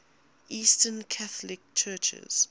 eastern catholic churches